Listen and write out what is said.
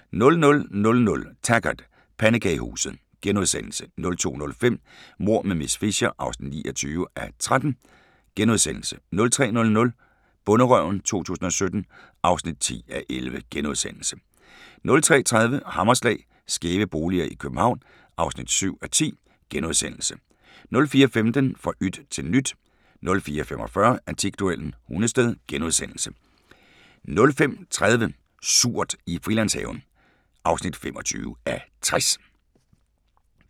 00:00: Taggart: Pandekagehuset * 02:05: Mord med miss Fisher (29:13)* 03:00: Bonderøven 2017 (10:11)* 03:30: Hammerslag - skæve boliger i København (7:10)* 04:15: Fra yt til nyt 04:45: Antikduellen – Hundested * 05:30: Surt i Frilandshaven (25:60)